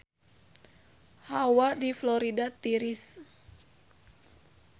Hawa di Florida tiris